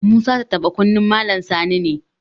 Musa tattaɓa kunnen Malam Sani ne.